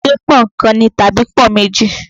Ṣẹ́ pọ́nkan ni tàbí pọ́n-ún méjì.